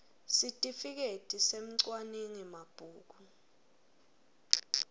sitifiketi semcwaningi mabhuku